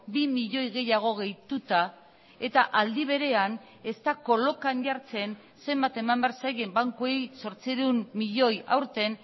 bi milioi gehiago gehituta eta aldi berean ez da kolokan jartzen zenbat eman behar zaien bankuei zortziehun milioi aurten